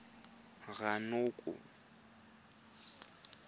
ranoko